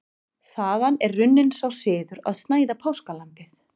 Þaðan er runninn sá siður að snæða páskalambið.